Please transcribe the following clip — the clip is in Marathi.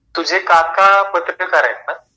तुझे काका पत्रकार आहेत ना?